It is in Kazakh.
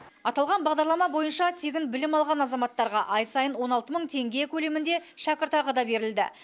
аталған бағдарлама бойынша тегін білім алған азаматтарға ай сайын он алты мың теңге көлемінде шәкіртақы да берілді